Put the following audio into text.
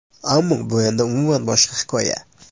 Ammo bu endi umuman boshqa hikoya .